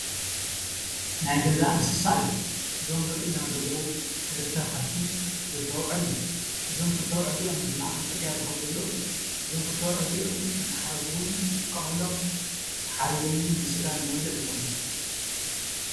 ናይ ገዛ እንስሳ እዮም፡፡ እዞም ዝረአዩና ዘለው ክልተ ከፍቲ፣ ክልተ ኣቡዑር እዮም፡፡ እዞም ክልተ ኣቡዑር እዚኦም ብማእኸል ፅርግያ ዝኸዱ ዘለው አዮም፡፡ እዞም ክልተ ኣቡዑር እዚኦም ንማሕረስ ውን ንጥቀመሎም ተሓሪዶም ውን ንስጋ ንመብልዕ ይጠቕሙ፡፡